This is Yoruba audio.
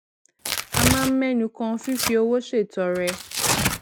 a máa ń ménu kan fífi owó ṣètọrẹ